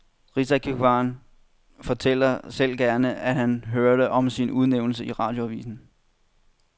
Rigsantikvaren fortæller selv gerne, at han hørte om sin udnævnelse i radioavisen.